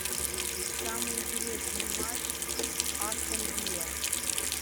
самый интересный матч астон вилла